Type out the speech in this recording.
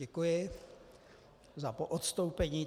Děkuji za poodstoupení.